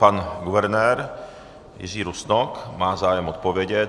Pan guvernér Jiří Rusnok má zájem odpovědět.